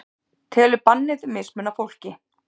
Telur bannið mismuna fólki